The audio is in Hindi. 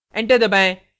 enter दबाएं